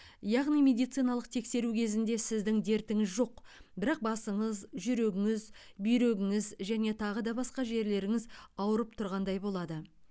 яғни медициналық тексеру кезінде сіздің дертіңіз жоқ бірақ басыңыз жүрегіңіз бүйрегіңіз және тағы басқа жерлеріңіз ауырып тұрғандай болады